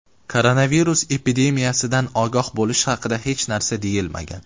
Koronavirus epidemiyasidan ogoh bo‘lish haqida hech narsa deyilmagan.